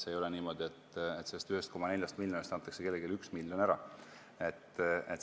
Ei ole niimoodi, et sellest 1,4 miljonist antakse kellelegi 1 miljon ära.